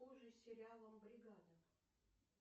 обр сериалом бригада